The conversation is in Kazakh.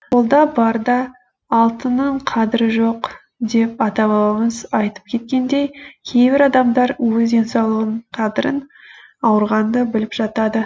қолда барда алтынның қадірі жоқ деп ата бабамыз айтып кеткендей кейбір адамдар өз денсаулығының қадірін ауырғанда біліп жатады